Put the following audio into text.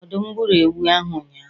Ọdụm gburu ewu ahụ ụnyahụ